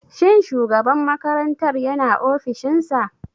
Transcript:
Shin shugaban makarantar yana ofishin sa.